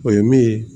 O ye min ye